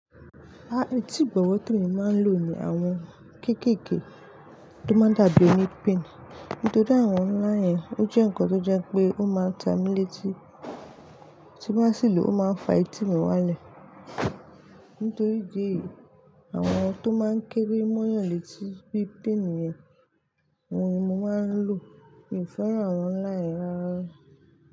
Rárá, etí ìbọ̀wọ̀ tí mo máa ń lò ni àwọn kéékèèké tó máa ń dàbí onipin. Nítorí àwọn láyìn ò jẹ́ ǹkan tó jẹ́ pé ó máa ta mí létí, tí bá sì lọ ó máa fa etí mi wálẹ̀. Nítorí ìdí èyí, àwọn tó máa ń kére mo yàn létí bí pin yẹn, àwọn ni mo máa ń lò. Mi ò fẹ́ràn àwọn láyìn rárá.